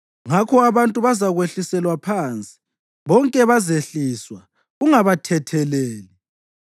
Ngakho abantu bazakwehliselwa phansi bonke bazehliswa ungabathetheleli.